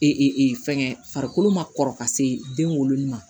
fɛngɛ farikolo ma kɔrɔ ka se den wolo ma